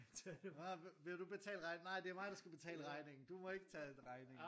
Ah vil du betale regningen nej det er mig der skal betale regningen du må ikke tage regningen